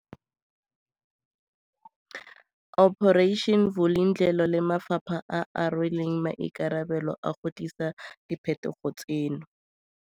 Operation Vulindlela le mafapha a a rweleng maikarabelo a go tlisa diphetogo tseno.